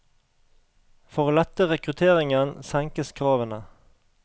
For å lette rekrutteringen senkes kravene.